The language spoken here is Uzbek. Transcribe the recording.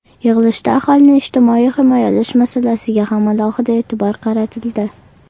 Yig‘ilishda aholini ijtimoiy himoyalash masalasiga ham alohida e’tibor qaratildi.